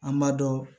An b'a dɔn